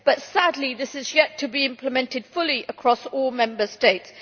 But, sadly, this is yet to be implemented fully across all Member States.